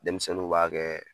Denmisɛnninw b'a kɛɛ